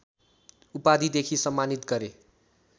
उपाधिदेखि सम्मानित गरे